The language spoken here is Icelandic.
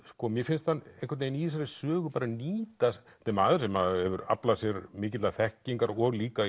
mér finnst hann í þessari sögu bara nýta þetta er maður sem hefur aflað sér mikillar þekkingar og líka